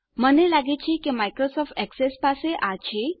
મને લાગે છે કે માયક્રોસોફટ એક્સેસ પાસે આ છે